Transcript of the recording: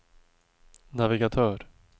navigatör